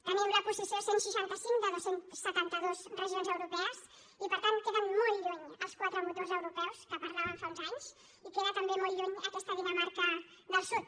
tenim la posició cent i seixanta cinc de dos cents i setanta dos regions europees i per tant queden molt lluny els quatre motors europeus de què parlàvem fa uns anys i queda també molt lluny aquesta dinamarca del sud